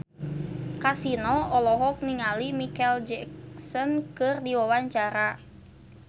Kasino olohok ningali Micheal Jackson keur diwawancara